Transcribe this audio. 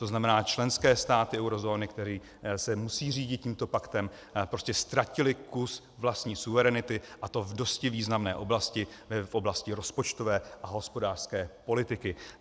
To znamená, členské státy eurozóny, které se musí řídit tímto paktem, prostě ztratily kus vlastní suverenity, a to v dosti významné oblasti, v oblasti rozpočtové a hospodářské politiky.